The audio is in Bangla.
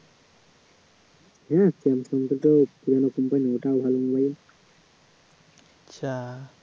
samsung টা তো আচ্ছা